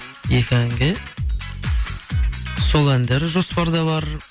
екі әнге сол әндер жоспарда бар